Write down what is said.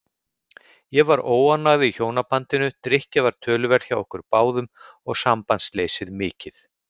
Ég var óánægð í hjónabandinu, drykkja var töluverð hjá okkur báðum og sambandsleysið mikið.